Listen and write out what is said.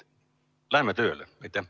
Läheme tööle!